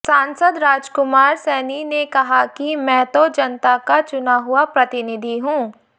सांसद राजकुमार सैनी ने कहा कि मैं तो जनता का चुना हुआ प्रतिनिधि हूं